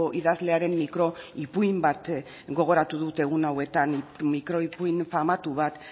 idazlearen mikro ipuin bat gogoratu dut egun hauetan mikro ipuin famatu bat